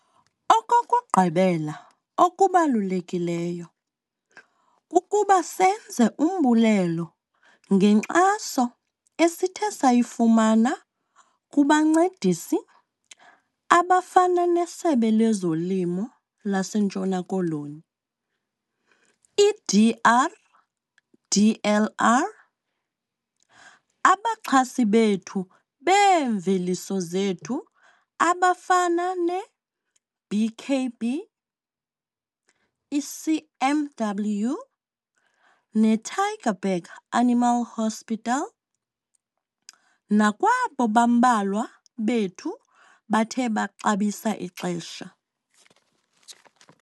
Okokugqibela okubalulekileyo kukuba senze umbulelo ngenkxaso esithe sayifumana kubancedisi abafana neSebe lezoLimi laseNtshona Koloni, iDRDLR, abaxhasi bethu beemveliso zethu abafana neBKB, iCMW neTygerberg Animal Hospital nakwabo bambalwa bethu bathe baxabisa ixesha.